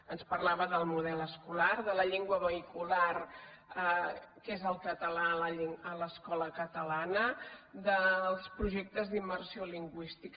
ens parlava del model escolar de la llengua vehicular que és el català a l’escola catalana dels projectes d’im·mersió lingüística